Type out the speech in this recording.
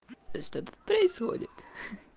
что тут происходит